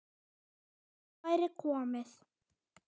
Nóg væri komið.